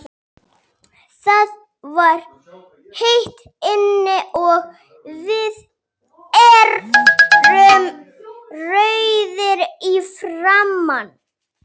Það var heitt inni, og við urðum rauðir í framan.